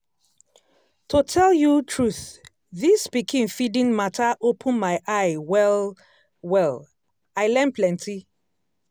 to tell you truth this pikin feeding matter open my eye well-well i learn plenty.